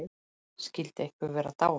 Skyldi einhver vera dáinn?